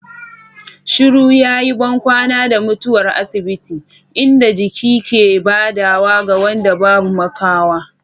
Shiru yayi bankwana da mutuwar asibiti, inda jiki ke badawa ga wanda babu makawa.